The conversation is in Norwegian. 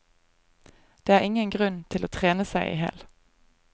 Det er ingen grunn til å trene seg ihjel.